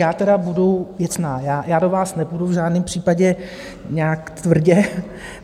Já tedy budu věcná, já do vás nepůjdu v žádném případě nějak tvrdě.